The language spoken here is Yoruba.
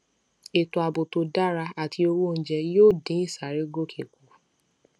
ètò ààbò tó dára àti owó oúnjẹ yóò dín ìsárégòkè kù